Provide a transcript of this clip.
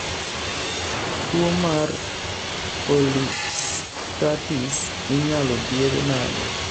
tuo mar polyarstertis inyal thiedh nade?